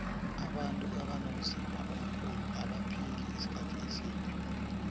abantu abanomzimba omkhulu abaphili isikhathi eside